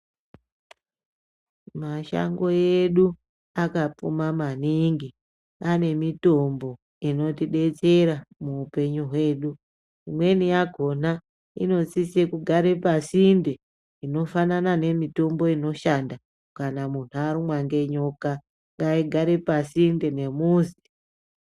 Mashango edu akapfuma maningi ane mitombo inotidetsera muhupenyu hwedu imweni yakona inosisa kugara pasinde inofana a nemitombo inoshanda kana munhu arumwa nenyoka ngaigare pasinde nemuzi.